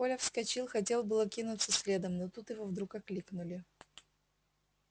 коля вскочил хотел было кинуться следом но тут его вдруг окликнули